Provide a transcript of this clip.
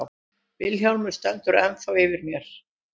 Vilhjálmur stendur ennþá yfir mér.